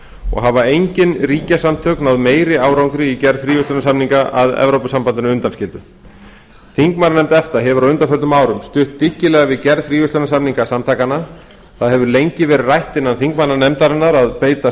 og hafa engin ríkjasamtök náð meiri árangri í gerð fríverslunarsamninga að evrópusambandinu undanskildu þingmannanefnd efta hefur á undanförnum árum stutt dyggilega við gerð fríverslunarsamninga samtakanna það hefur lengi verið rætt innan þingmannanefndarinnar að beita